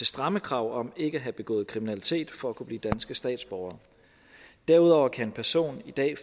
stramme krav om ikke at have begået kriminalitet for at kunne blive danske statsborgere derudover kan en person i dag